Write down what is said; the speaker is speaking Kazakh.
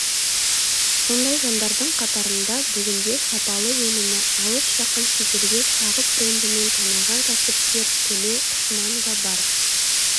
сондай жандардың қатарында бүгінде сапалы өнімі алыс-жақын шетелге сағып брендімен танылған кәсіпкер төлеу құшманова бар